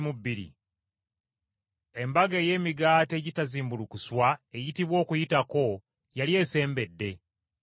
Embaga ey’Emigaati Egitazimbulukuswa eyitibwa Okuyitako yali esembedde.